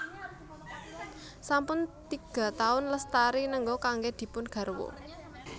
Sampun tiga taun Lestari nengga kanggé dipun garwa